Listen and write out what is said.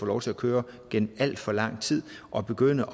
lov til at køre gennem alt for lang tid at begynde